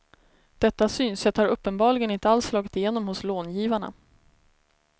Detta synsätt har uppenbarligen inte alls slagit igenom hos långivarna.